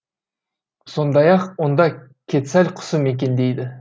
сондай ақ онда кетсаль құсы мекендейді